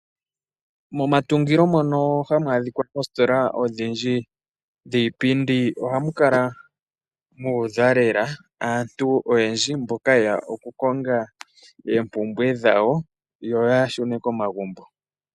Momatungilo mono hamu adhika oositola odhindji dhiipindi ohamu kala muudha lela aantu yeya okukonga oompumbwe dhawo yoya shune komagumbo.